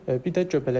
Bir də göbələk.